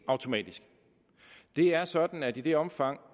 er sådan at i det omfang